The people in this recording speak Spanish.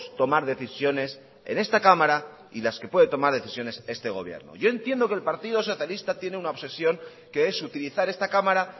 tomar decisiones en esta cámara y las que puede tomar decisiones este gobierno yo entiendo que el partido socialista tiene una obsesión que es utilizar esta cámara